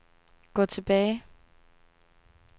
gå tilbage